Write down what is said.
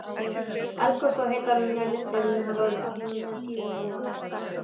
Eldgos og heitar lindir hafa alla tíð minnt á þetta.